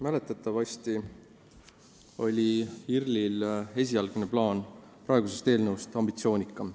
Mäletatavasti oli IRL-i esialgne plaan praegusest eelnõust ambitsioonikam.